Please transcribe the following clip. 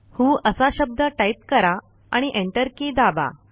व्हो असा शब्द टाईप करा आणि एंटर की दाबा